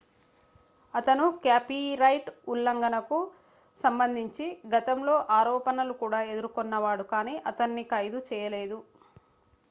అతను కాపీరైట్ ఉల్లంఘనకు సంబంధించి గతంలో ఆరోపణలు కూడా ఎదుర్కొన్నాడు కానీ అతన్ని ఖైదు చేయలేదు